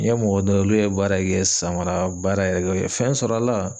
N ye mɔgɔ dɔ ye olu ye baara kɛ sanbara baara ye o ye fɛn sɔrɔ a la.